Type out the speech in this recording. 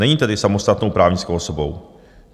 Není tedy samostatnou právnickou osobou.